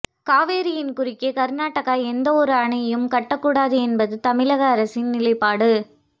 காவிரியின் குறுக்கே கர்நாடகா எந்த ஒரு அணையும் கட்ட கூடாது என்பது தமிழக அரசின் நிலைப்பாடு